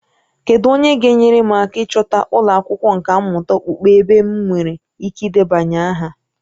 Kedu onye ga-enyere m aka ịchọta ụlọ akwụkwọ nkà mmụta okpukpe ebe m nwere ike ịdebanye aha?